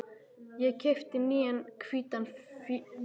Ég keypti nýjan hvítan flygil.